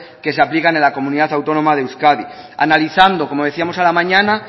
que se aplican en la comunidad autónoma de euskadi analizando como decíamos a la mañana